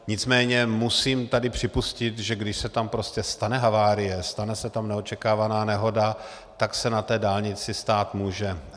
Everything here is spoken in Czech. Nicméně musím tady připustit, že když se tam prostě stane havárie, stane se tam neočekávaná nehoda, tak se na té dálnici stát může.